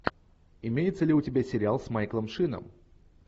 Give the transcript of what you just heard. имеется ли у тебя сериал с майклом шином